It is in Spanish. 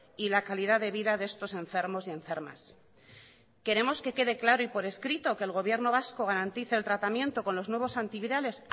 y la calidad de vida de estos enfermos y enfermas queremos que quede claro y por escrito que el gobierno vasco garantice el tratamiento con los nuevos antivirales